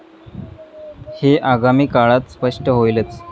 हे आगामी काळात स्पष्ट होईलच.